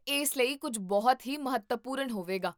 ਇਸ ਲਈ ਕੁੱਝ ਬਹੁਤ ਹੀ ਮਹੱਤਵਪੂਰਨ ਹੋਵੇਗਾ?